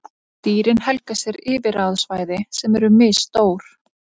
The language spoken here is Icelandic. Dýrin helga sér yfirráðasvæði sem eru misstór.